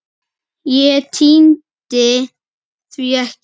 Nei, ég tímdi því ekki!